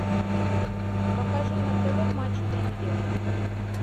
покажи на тв матч премьер